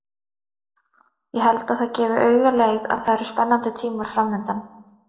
Ég held að það gefi auga leið að það eru spennandi tímar framundan.